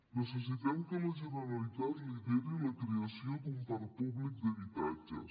necessitem que la generalitat lideri la creació d’un parc públic d’habitatges